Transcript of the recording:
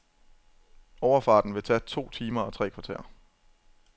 Overfarten vil tage to timer og tre kvarter.